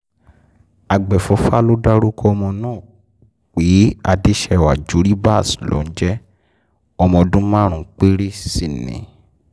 àgbẹ̀fọ́fà ló dárúkọ ọmọ náà pé adèsèwà juribas ló ń jẹ́ ọmọ ọdún márùn-ún péré sí ni